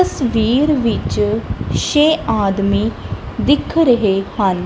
ਤਸਵੀਰ ਵਿੱਚ ਛੇ ਆਦਮੀ ਦਿਖ ਰਹੇ ਹਨ।